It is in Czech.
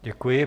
Děkuji.